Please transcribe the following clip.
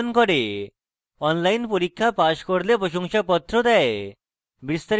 online পরীক্ষা pass করলে প্রশংসাপত্র দেয়